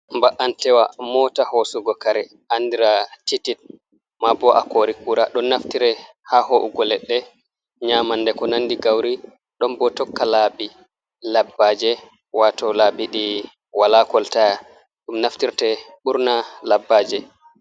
Ba'anteewa mota hoosugo kare andira titit, maa bo a kori kura ɗon naftire ha ho’ugo leɗɗe, nyamande, ko nandi gauri. Ɗon bo tokka laabi labbaje wato laabi ɗi wala kolta. Ɗum naftirte burna labbaje.